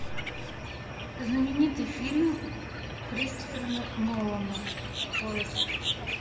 знаменитый фильм кристофера нолана поиск